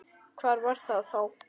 Hvað var það þá?